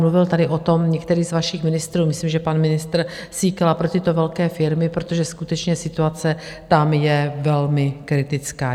Mluvil tady o tom některý z vašich ministrů, myslím, že pan ministr Síkela, pro tyto velké firmy, protože skutečně situace tam je velmi kritická.